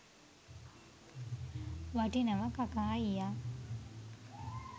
වටිනවා කකා අයියා